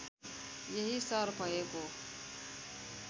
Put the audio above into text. यही सहर भएको